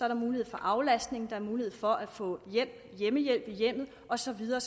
der mulighed for aflastning der er mulighed for at få hjemmehjælp i hjemmet og så videre